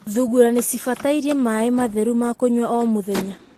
Thungura nĩ cibatarĩte maaĩ matheru ma kũnyua o mũthenya.